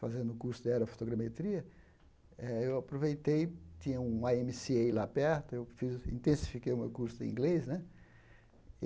fazendo o curso de Aerofotogrametria eh, eu aproveitei, tinha um à eme ci ei lá perto, eu fiz intensifiquei o meu curso de inglês né.